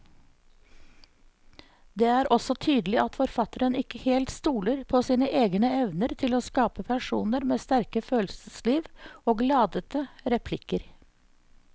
Det er også tydelig at forfatteren ikke helt stoler på sine egne evner til å skape personer med sterke følelsesliv og ladete replikker.